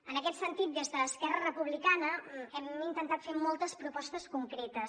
en aquest sentit des d’esquerra republicana hem intentat fer moltes propostes concretes